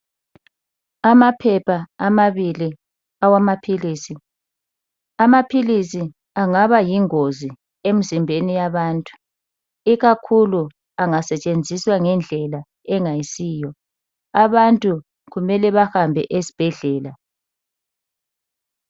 Amaphepha amabili awamaphilisi , amaphilisi angaba yingozi emzimbeni yabantu ikakhulu angasetshenziswa ngendlela engayisiwo. Abantu kumele bahambe esibhedlela.